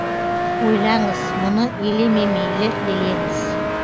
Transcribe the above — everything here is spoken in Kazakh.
ойлаңыз мұны елеме мейлі елеңіз